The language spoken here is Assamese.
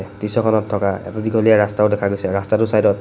দৃশ্যখনত থকা এটা দীঘলীয়া ৰাস্তাও দেখা গৈছে ৰাস্তাটোৰ চাইডত--